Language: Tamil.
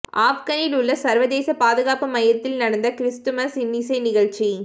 ஆப்கனில் உள்ள சர்வதேச பாதுகாப்பு மையத்தில் நடந்த கிறிஸ்துமஸ் இன்னிசை நிகழ்ச்சி